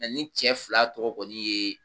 Mɛ ni cɛ fila tɔgɔ kɔni ye